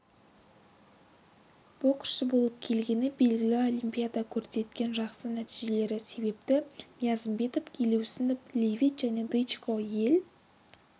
боксшы болып келгені белгілі олимпиада көрсеткен жақсы нәтижелері себепті ниязымбетов елеусінов левит және дычко ел